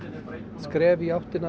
skref í áttina